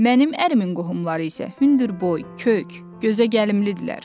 Mənim ərimin qohumları isə hündürboy, kök, gözəgəlimlidirlər.